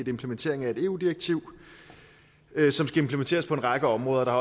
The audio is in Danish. implementering af et eu direktiv som skal implementeres på en række områder og der